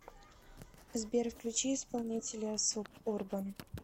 сбер включи исполнителя суб урбан